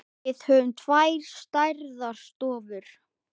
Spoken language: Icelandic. Við höfum tvær stærðar stofur.